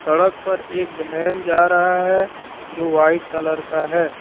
सड़क पर एक वैन जा रहा है जो वाइट कलर का है।